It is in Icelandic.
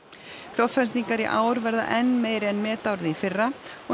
fjárfestingar í ár verða enn meiri en metárið í fyrra og